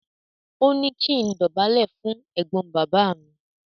Ó ní kí n dọ̀bálẹ̀ fún ẹ̀gbọ́n bàbá mi.